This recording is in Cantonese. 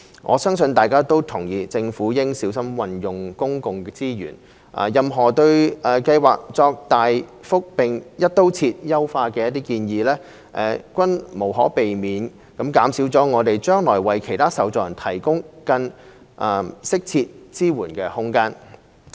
我相信大家都同意，政府應小心運用公共資源，任何對計劃作大幅並"一刀切"優化的建議，均無可避免地減少我們將來為其他受助人提供更適切支援的空間。